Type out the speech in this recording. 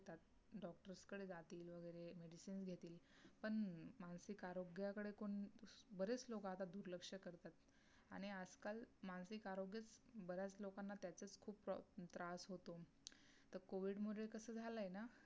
सगळ्याकडे कोण बरेच लोक आता दुर्लक्ष करतात आणि आजकाल मानसिक आरोग्याच बऱ्याच लोकांना त्याचंच खूप त्रास होतो. तर कोविड मुळे कस झालाय ना